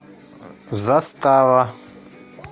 застава